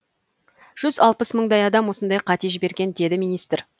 жүз алпыс мыңдай мыңдай адам осындай қате жіберген деді министр